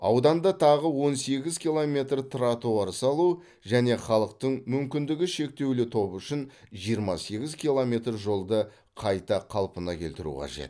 ауданда тағы он сегіз километр тротуар салу және халықтың мүмкіндігі шектеулі тобы үшін жиырма сегіз километр жолды қайта қалпына келтіру қажет